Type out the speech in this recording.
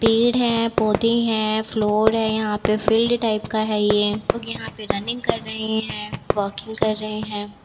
पेड़ है पौधे हैं फ्लोर है यहाँ पे फील्ड टाइप का है ये सबलोग यहाँ पे रनिंग कर रहें हैं वाकिंग कर रहें हैं।